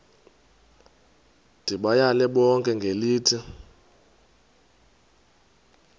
ndibayale bonke ngelithi